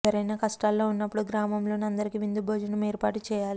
ఎవరైనా కష్టాల్లో ఉన్నప్పుడు గ్రామంలోని అందరికీ విందు భోజనం ఏర్పాటు చేయాలి